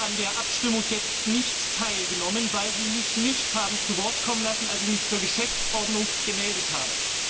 Ich habe an der Abstimmung jetzt nicht teilgenommen, weil Sie mich nicht haben zu Wort kommen lassen, als ich mich zur Geschäftsordnung gemeldet habe.